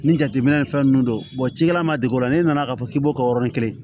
Ni jateminɛ ni fɛn ninnu don cikɛla man dege o la n'e nana k'a fɔ k'i b'o kɛ yɔrɔnin kelen